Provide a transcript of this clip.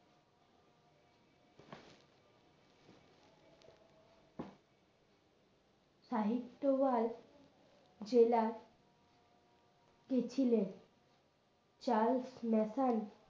সাহিত্য আর জেলার কে ছিলেন চার্লস ম্যাসন